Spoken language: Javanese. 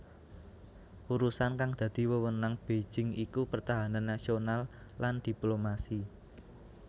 Urusan kang dadi wewenang Beijing iku pertahanan nasional lan diplomasi